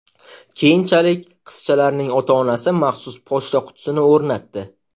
Keyinchalik, qizchalarning ota-onasi maxsus pochta qutisini o‘rnatdi.